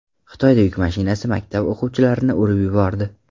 Xitoyada yuk mashinasi maktab o‘quvchilarni urib yubordi.